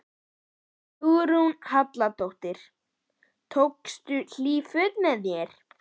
Hugrún Halldórsdóttir: Tókstu hlýt föt með þér?